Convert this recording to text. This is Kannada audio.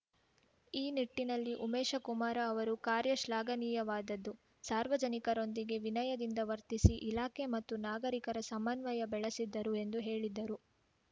ಈ ನಿಟ್ಟಿನಲ್ಲಿ ಉಮೇಶಕುಮಾರ ಅವರ ಕಾರ್ಯ ಶ್ಲಾಘನೀಯವಾದದ್ದು ಸಾರ್ವಜನಿಕರೊಂದಿಗೆ ವಿನಯದಿಂದ ವರ್ತಿಸಿ ಇಲಾಖೆ ಮತ್ತು ನಾಗರಿಕರ ಸಮನ್ವಯ ಬೆಳೆಸಿದ್ದರು ಎಂದು ಹೇಳಿದರು